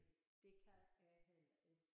Det kan jeg heller ikke